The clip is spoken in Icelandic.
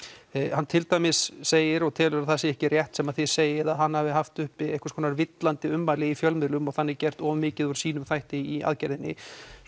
hann til dæmis segir og telur að það sé ekki rétt sem þið segið að hann hafi haft uppi einhvers konar villandi ummæli í fjölmiðlum og þannig gert of mikið úr sínum þætti í aðgerðinni